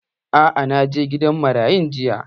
Aa, na je gidan marayun jiya